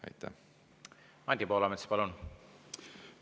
Anti Poolamets, palun!